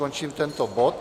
Končím tento bod.